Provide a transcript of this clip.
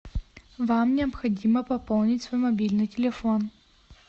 вам необходимо пополнить свой мобильный телефон